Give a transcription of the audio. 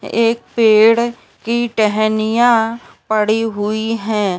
एक पेड़ की टहनियाँ पड़ी हुई हैं।